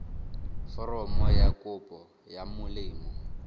foromo ya kopo ya molemo